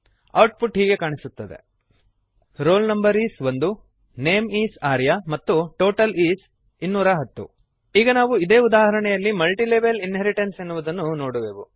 output ಹೀಗೆ ಕಾಣಿಸುತ್ತದೆ roll no is 1 name is Arya ಮತ್ತು ಟೋಟಲ್ is 210 ಈಗ ನಾವು ಇದೇ ಉದಾಹರಣೆಯಲ್ಲಿ ಮಲ್ಟಿಲೆವೆಲ್ ಇನ್ಹೆರಿಟೆನ್ಸ್ ಎನ್ನುವುದನ್ನು ನೋಡುವೆವು